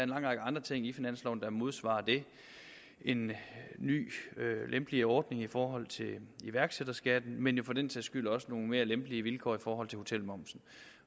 lang række andre ting i finansloven der modsvarer det en ny lempeligere ordning i forhold til iværksætterskatten men jo for den sags skyld også nogle mere lempelige vilkår i forhold til hotelmomsen